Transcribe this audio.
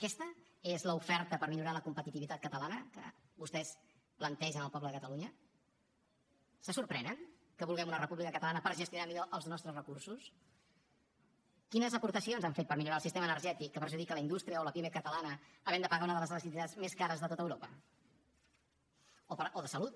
aquesta és l’oferta per a millorar la competitivitat catalana que vostès plantegen al poble de catalunya se sorprenen que vulguem una república catalana per a gestionar millor els nostres recursos quines aportacions han fet per a millorar el sistema energètic que perjudica la indústria o la pime catalana havent de pagar una de les electricitats més cares de tot europa o de salut